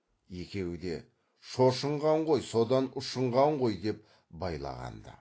екеуі де шошынған ғой содан ұшынған ғой деп байлаған ды